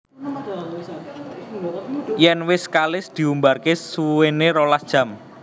Yèn wis kalis diumbarké suwéné rolas jam